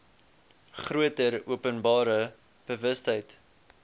groter openbare bewustheid